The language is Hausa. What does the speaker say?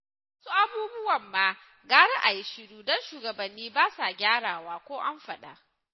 Wasu abubuwan ma gara a yi shiru don shugabanni ba sa gyarawa ko an faɗa